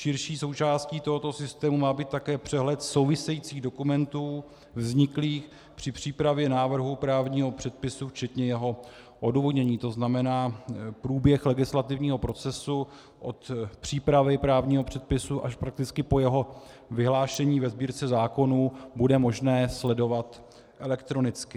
Širší součástí tohoto systému má být také přehled souvisejících dokumentů vzniklých při přípravě návrhu právního předpisu včetně jeho odůvodnění, to znamená průběh legislativního procesu od přípravy právního předpisu až prakticky po jeho vyhlášení ve Sbírce zákonů bude možné sledovat elektronicky.